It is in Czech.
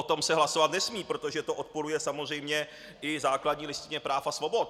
O tom se hlasovat nesmí, protože to odporuje samozřejmě i základní listině práv a svobod.